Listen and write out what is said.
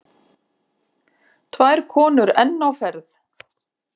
Tvær konur enn á ferð.